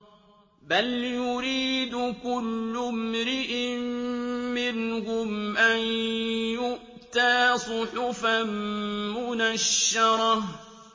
بَلْ يُرِيدُ كُلُّ امْرِئٍ مِّنْهُمْ أَن يُؤْتَىٰ صُحُفًا مُّنَشَّرَةً